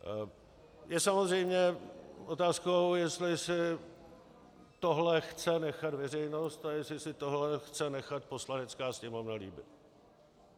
Je samozřejmě otázkou, jestli si tohle chce nechat veřejnost a jestli si tohle chce nechat Poslanecká sněmovna líbit.